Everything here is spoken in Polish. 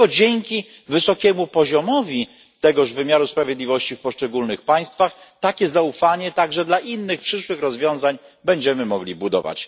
I tylko dzięki wysokiemu poziomowi tegoż wymiaru sprawiedliwości w poszczególnych państwach takie zaufanie także dla innych przyszłych rozwiązań będziemy mogli budować.